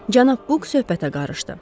Cənab Buk söhbətə qarışdı.